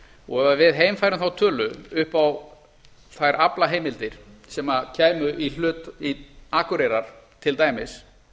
og við heimfærum þá tölu upp á þær aflaheimildir sem kæmu í hlut akureyrar til dæmis